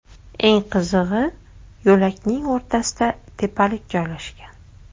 Eng qizig‘i, yo‘lakning o‘rtasida tepalik joylashgan.